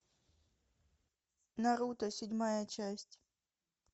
наруто седьмая часть